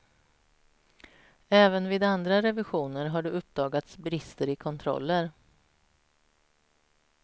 Även vid andra revisioner har det uppdagats brister i kontroller.